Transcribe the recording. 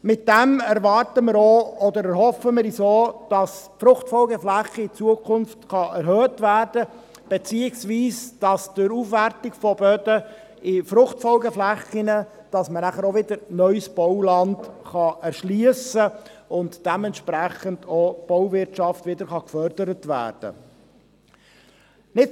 Damit erhoffen wir uns auch, dass die Fruchtfolgeflächen in Zukunft erhöht werden können, beziehungsweise dass die Aufwertung von Böden in Fruchtfolgeflächen geschieht und somit anschliessend wieder neues Bauland erschlossen und die Bauwirtschaft gefördert werden kann.